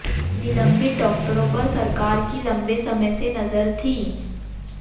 निलंबित डॉक्टरों पर सरकार की लंबे समय से नजर थी